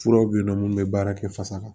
Furaw bɛ yen nɔ mun bɛ baara kɛ fasa kan